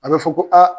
A bɛ fɔ ko aa